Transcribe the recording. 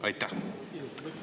Aitäh!